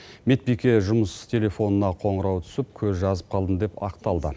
медбике жұмыс телефонына қоңырау түсіп көз жазып қалдым деп ақталды